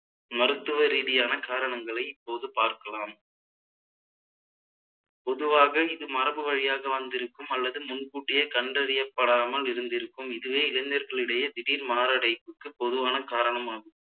மருத்துவ ரீதியான காரணங்களை இப்போது பார்க்கலாம் பொதுவாக இது மரபு வழியாக வந்திருக்கும் அல்லது முன்கூட்டியே கண்டறியப்படாமல் இருந்திருக்கும் இதுவே இளைஞர்களிடையே திடீர் மாரடைப்புக்கு பொதுவான காரணமாகும்